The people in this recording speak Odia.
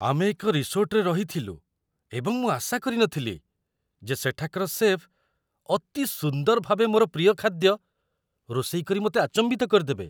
ଆମେ ଏକ ରିସୋର୍ଟରେ ରହିଥିଲୁ, ଏବଂ ମୁଁ ଆଶା କରି ନ ଥିଲି ଯେ ସେଠାକାର ଶେଫ୍ ଅତି ସୁନ୍ଦର ଭାବେ ମୋର ପ୍ରିୟ ଖାଦ୍ୟ ରୋଷେଇ କରି ମୋତେ ଆଚମ୍ବିତ କରିଦେବେ।